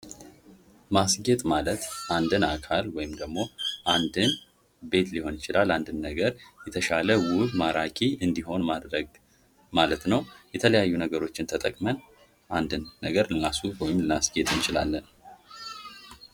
ማስጌጥ ማለት አንድን አካል ወይም ደግሞ አንድን ቤት ሊሆን ይችላል። አንድን ነገር የተሻለ ውብ ማራኪ እንዲሆን ማድረግ ማለት ነው። የተለያዩ ነገሮች ተጠቅመን አንድን ነገር ልናስውብ ወይም ደግሞ ልናስጌጥ እንችላለን።